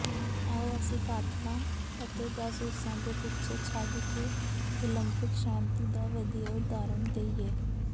ਆਓ ਅਸੀਂ ਕਾਤਲਾਂ ਅਤੇ ਜਾਸੂਸਾਂ ਦੇ ਪਿੱਛੇ ਛੱਡ ਕੇ ਓਲੰਪਿਕ ਸ਼ਾਂਤੀ ਦਾ ਵਧੀਆ ਉਦਾਹਰਣ ਦੇਈਏ